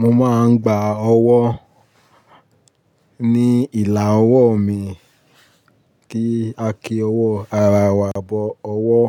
Mo máa ń gba ọwọ́ ní ìlà ọwọ́ mi, kí a kí ọwọ́, àrá wa bọ ọwọ́.